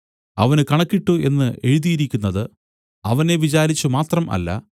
അവന് കണക്കിട്ടു എന്നു എഴുതിയിരിക്കുന്നത് അവനെ വിചാരിച്ചു മാത്രം അല്ല